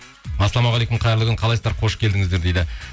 ассалаумағалейкум қайырлы күн қалайсыздар қош келдіңіздер дейді